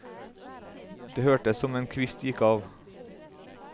Det hørtes som en kvist gikk av.